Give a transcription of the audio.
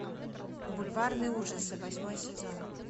бульварные ужасы восьмой сезон